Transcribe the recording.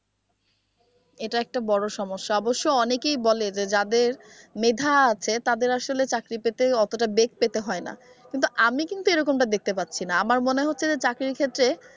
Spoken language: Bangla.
এটা একটা বড় সমস্যা অবশ্য অনেকে বলে যে যাদের মেধা আছে তাদের আসলে চাকরি পেতে অতোটা বেগ পেতে হয়না কিন্তু আমি কিন্তু এরকমটা দেখতে পাচ্ছি না আমার মনে হচ্ছে যে চাকরির ক্ষেত্রে,